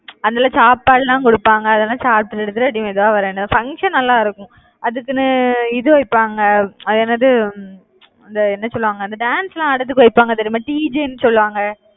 அதுல சாப்பாடுலாம் குடுப்பாங்க. அதெல்லாம் வரணும் function நல்லா இருக்கும். அதுக்குன்னு இது வைப்பாங்க. அது என்னது? அந்த என்ன சொல்லுவாங்க? அந்த dance எல்லாம் ஆடறதுக்கு வைப்பாங்க தெரியுமா? DJ ன்னு சொல்லுவாங்க